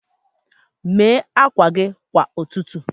Mee akwa gị kwa ụtụtụ.